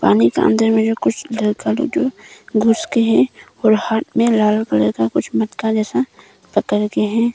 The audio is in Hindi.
पानी के अंदर में जो कुछ जल का घुस के है और हाथ में लाल कलर का कुछ मटका जैसा पकड़ के है।